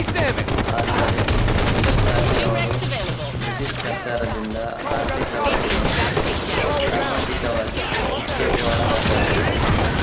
ಆದರೆ ಇದಕ್ಕಾಗಿ ಅವರು ಬ್ರಿಟಿಷ್ ಸರ್ಕಾರದಿಂದ ಆರ್ಥಿಕವಾಗಿ ಮತ್ತು ಸಾಮಾಜಿಕವಾಗಿ ಶಿಕ್ಷೆಗೆ ಒಳಗಾದರು